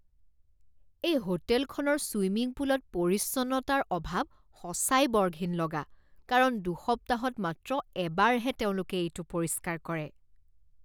এই হোটেলখনৰ ছুইমিং পুলত পৰিচ্ছন্নতাৰ অভাৱ সঁচাই বৰ ঘিণ লগা কাৰণ দুসপ্তাহত মাত্ৰ এবাৰহে তেওঁলোকে এইটো পৰিষ্কাৰ কৰে।